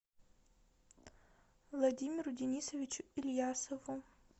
владимиру денисовичу ильясову